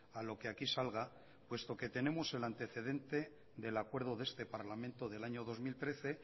a lo que aquí salga puesto que tenemos el antecedente del acuerdo de este parlamento del año dos mil trece